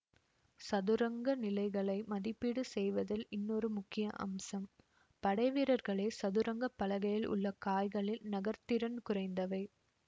சதுரங்க நிலைகளை மதிப்பீடு செய்வதில் இன்னொரு முக்கிய அம்சம் படைவீரர்களே சதுரங்க பலகையில் உள்ள காய்களில் நகர்திறன் குறைந்தவை